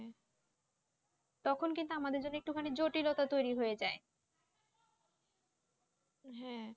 তখন কিন্তু আমাদের জন্য একটু জটিলতা তৈরি হয়ে যায়।